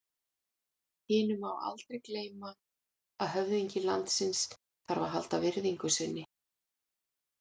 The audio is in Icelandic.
Hinu má aldrei gleyma að höfðingi landsins þarf að halda virðingu sinni.